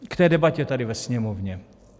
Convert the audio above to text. K té debatě tady ve Sněmovně.